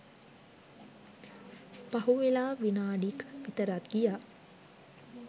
පහුවෙලා විනාඩි ක් විතරත් ගියා